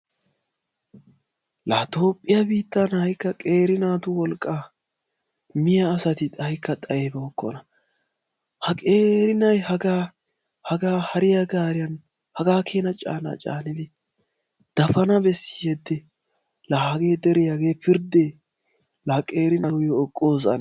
Laa toophiyaa biittan ha'ikka qeeri naatu wolqaa miya asati ha'ikka xayibookona. Ha qeeri na'i hagaa hariyaa gaariya hagaa keena canaa dafana bessi? Hagee deree pirdee laa qeeri naa nuyoo ekoos ane!